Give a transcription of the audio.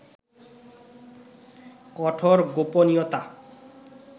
কঠোর গোপনীয়তা